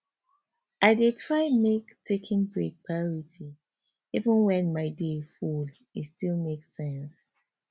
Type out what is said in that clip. i dey try make taking breaks priority even when my day full e still make sense